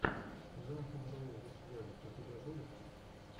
ганз эн роузиз вево у тебя будет